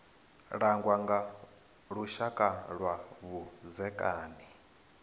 langwa nga lushaka lwa vhudzekani